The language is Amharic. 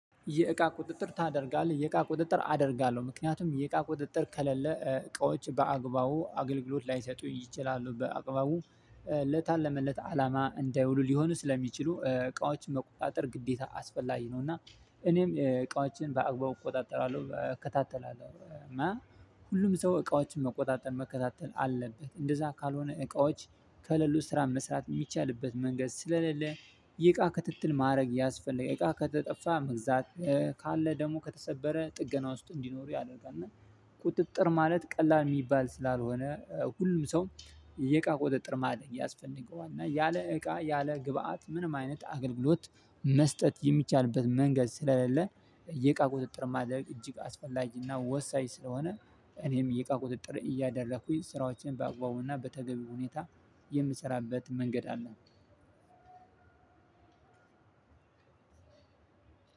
የእቃ ቁጥጥር ታደርጋለህ የእቃ ቁጥጥር አደርጋለሁ ምክንያቱም የእቃ ቁጥጥር ከሌለ እቃዎች በአግባቡ አገልግሎት ላይሰጡ ይችላሉ በአግባቡ ለታለመለት አላማ እንዳይውሉ ሊሆኑ ስለሚችሉ እቃዎችን መቆጣጠር ግዴታ አስፈላጊ ነው። እና እኔም እቃዎችን በአግባቡ እቆጣጠራለሁ እከታተላለሁ እና ሁሉም ሰው እቃዎችን መቆጣጠር መከታተል አለበት። እንደዛ ካልሆነ እቃዎች ከሌሉ ስራ መስራት የሚቻልበት መንገድ ስለሌለ የእቃ ክትትል ማድረግ ያስፈልጋል። እቃ ከተጠፋ መግዛት ካለ ደግሞ ከተሰበረ ጥገና ውስጥ እንዲኖሩ ያደርጋል። እና ቁጥጥር ማለት ቀላል የሚባል ስላልሆነ ሁሉም ሰው የእቃ ቁጥጥር ማድረግ ያስፈልገዋል። እና ያለ እቃ ያለ ግብአት ምንም አይነት አገልግሎት መስጠት የሚቻልበት መንገድ ስለሌለ የቃ ቁጥጥር ማድረግ እጅግ አስፈላጊና ወሳኝ ስለሆነ። እኔም የእቃ ቁጥጥር እያደረኩኝ ስራዎቼን በአግባቡና በተገቢ ሁኔታ የምሰራበት መንገድ አለ።